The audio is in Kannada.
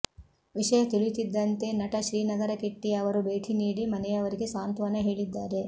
ವಿಷಯ ತಿಳಿಯುತ್ತಿದ್ದಂತೆ ನಟ ಶ್ರೀನಗರ ಕಿಟ್ಟಿ ಅವರು ಭೇಟಿ ನೀಡಿ ಮನೆಯವರಿಗೆ ಸಾಂತ್ವನ ಹೇಳಿದ್ದಾರೆ